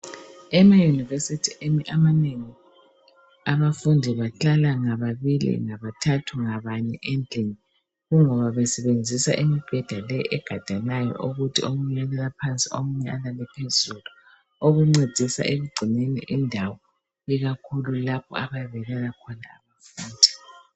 Emayunivesithi amanengi abafundi bahlala ngababili, ngabathathu, ngabane, kungoba besenzisa imibheda le egadanayo okuthi omunye uyalala phansi omunye alale phezulu, okuncedisa ekugcineni indawo ikakhulu lapho abayabe belala khona.